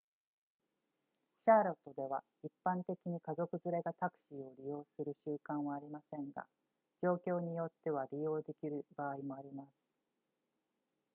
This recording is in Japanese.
シャーロットでは一般的に家族連れがタクシーを利用する習慣はありませんが状況によっては利用できる場合もあります